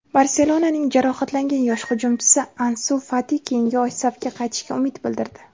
"Barselona"ning jarohatlangan yosh hujumchisi Ansu Fati keyingi oy safga qaytishiga umid bildirdi.